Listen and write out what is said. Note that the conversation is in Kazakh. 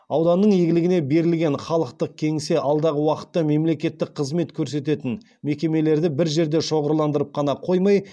ауданның игілігіне берілген халықтық кеңсе алдағы уақытта мемлекеттік қызмет көрсететін мекемелерді бір жерде шоғырландырып қана қоймай